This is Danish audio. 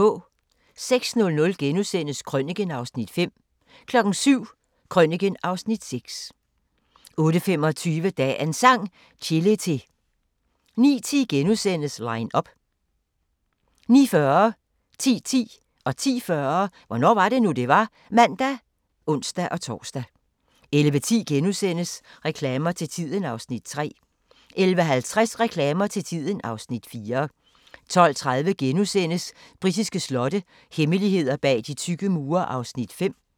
06:00: Krøniken (Afs. 5)* 07:00: Krøniken (Afs. 6) 08:25: Dagens Sang: Chelete 09:10: Line up * 09:40: Hvornår var det nu, det var? (man og ons-tor) 10:10: Hvornår var det nu, det var? (man og ons-tor) 10:40: Hvornår var det nu, det var? (man og ons-tor) 11:10: Reklamer til tiden (Afs. 3)* 11:50: Reklamer til tiden (Afs. 4) 12:30: Britiske slotte – hemmeligheder bag de tykke mure (5:6)*